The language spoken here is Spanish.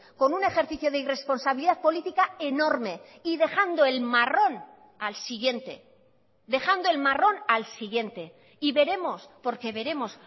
con un ejercicio de irresponsabilidad política enorme y dejando el marrón al siguiente dejando el marrón al siguiente y veremos porque veremos